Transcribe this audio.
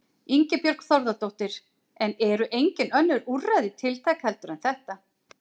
Ingibjörg Þórðardóttir: En eru engin önnur úrræði tiltæk heldur en þetta?